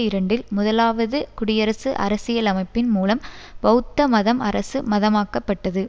இரண்டில் முதலாவது குடியரசு அரசியலமைப்பின் மூலம் பெளத்த மதம் அரசு மதமாக்கப்பட்டது